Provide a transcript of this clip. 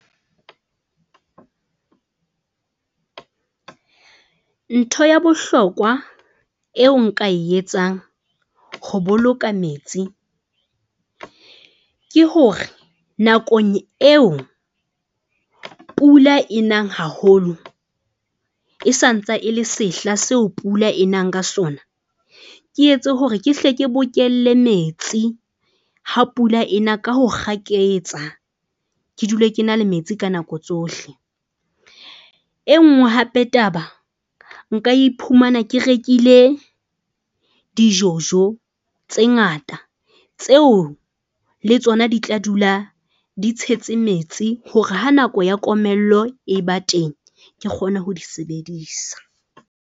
Ntho ya bohlokwa eo nka e etsang ho boloka metsi, ke hore nakong eo pula e nang haholo e sa ntsa e le sehla seo pula e nang ka sona. Ke etse hore ke hle ke bokelle metsi ha pula ena ka ho kgaketsa. Ke dule ke na le metsi ka nako tsohle. E nngwe hape taba nka iphumana ke rekile di-jojo tse ngata tseo le tsona di tla dula di tshetse metsi hore ha nako ya komello e ba teng ke kgone ho di sebedisa.